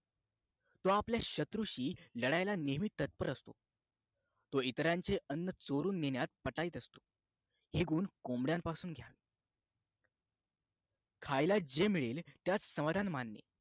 तो शत्रूंची नेहमी लढायला तत्पर असतो तो इतरांचे अन्न चोरून नेण्यात पटाईत असतो हे गुण कोंबड्यांपासून घ्या खायला जे मिळेल त्यात समाधान मनाने